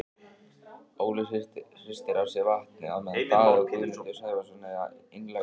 Óli hristir af sér vatnið á meðan Daði og Guðmundur Sævarsson eiga einlæga stund.